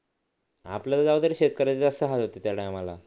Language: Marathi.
आपल्याला जाऊ दे रे शेतकऱ्याचे जास्त हाल होते त्या टायमाला